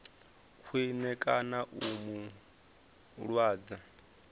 khwine kana u mu lwadza